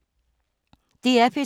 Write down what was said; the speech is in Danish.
DR P3